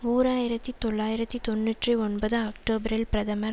ஓர் ஆயிரத்தி தொள்ளாயிரத்தி தொன்னூற்றி ஒன்பது அக்டோபரில் பிரதமர்